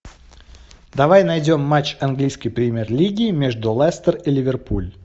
давай найдем матч английской премьер лиги между лестер и ливерпуль